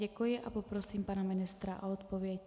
Děkuji a poprosím pana ministra o odpověď.